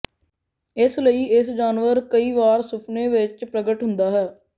ਇਸ ਲਈ ਇਸ ਜਾਨਵਰ ਕਈ ਵਾਰ ਸੁਫਨੇ ਵਿੱਚ ਪ੍ਰਗਟ ਹੁੰਦਾ ਹੈ